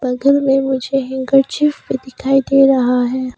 पल्घन में मुझे uncle chips भी दिखाई दे रहा है।